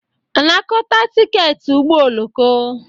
Anakọta tiketi ụgbọ oloko